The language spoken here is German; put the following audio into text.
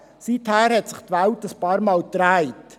Seither hat sich die Welt einige Male gedreht.